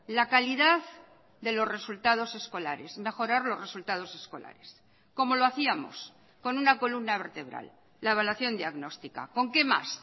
la calidad de los resultados escolares mejorar los resultados escolares cómo lo hacíamos con una columna vertebral la evaluación diagnóstica con qué más